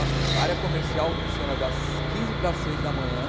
A área comercial funciona das quinze para as seis da manhã.